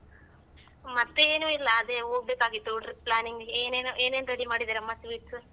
ಮತ್ತೆ ಏನು ಇಲ್ಲ ಅದೇ ಹೋಗ್ಬೇಕಾಗಿತ್ತು trip planning ಗೆ ಏನೇನ್ ಏನೇನು ready ಮಾಡಿದಿರಮ್ಮ sweets ?